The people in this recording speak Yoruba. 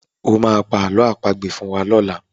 O máa pa àlọ́ àpagbè fún wa lọ́la.